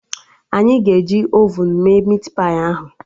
Anyị ga-eji ovun mee mit pai ahụ